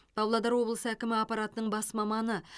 павлодар облысы әкімі аппаратының бас маманы